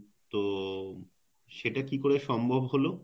তো সেটা কিভাবে সম্ভব হল?